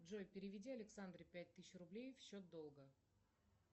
джой переведи александре пять тысяч рублей в счет долга